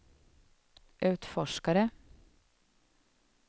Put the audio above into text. utforskare